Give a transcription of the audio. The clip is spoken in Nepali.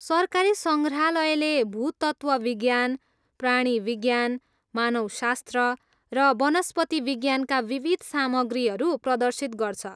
सरकारी सङ्ग्राहलयले भूतत्त्वविज्ञान, प्राणीविज्ञान, मानवशास्त्र र वनस्पतिविज्ञानका विविध सामग्रीहरू प्रदर्शित गर्छ।